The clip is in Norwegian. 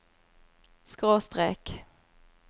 skråstrek